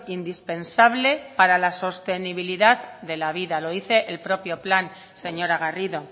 indispensable para la sostenibilidad de la vida lo dice el propio plan señora garrido